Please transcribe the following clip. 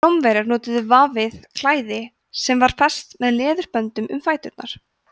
rómverjar notuðu vafið klæði sem var fest með leðurböndum um fæturna